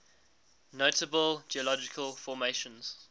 notable geological formations